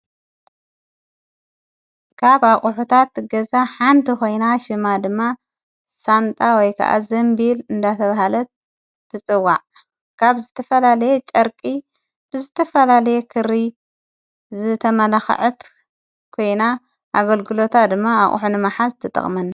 ጋብ ኣቕሑታት ትገዛ ሓንቲ ኾይና ሽማ ድማ ሳንታ ወይከኣኣዘምቢል እንዳሰብሃለት ትጽዋዕ ጋብ ዝትፈላለየ ጨርቂ ብዝተፈላለየ ክሪ ዝተመላኽዐት ኮይና ኣገልግሎታ ድማ ኣቝሕ ኒ መሓዝ ትጠቕምን።